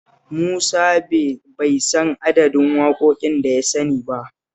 Musa bai san adadin waƙoƙin da ya sani ba